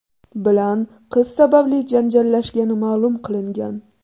bilan qiz sababli janjallashgani ma’lum qilingan.